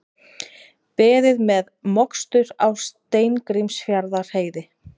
Beðið með mokstur á Steingrímsfjarðarheiði